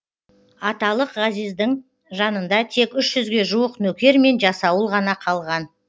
аталық ғазиздің жанында тек үш жүзге жуық нөкер мен жасауыл ғана қалған